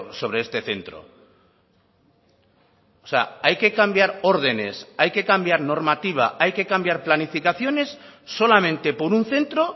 sobre este centro o sea hay que cambiar órdenes hay que cambiar normativa hay que cambiar planificaciones solamente por un centro